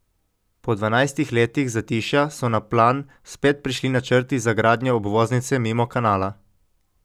Po dvanajstih letih zatišja so na plan spet prišli načrti za gradnjo obvoznice mimo Kanala.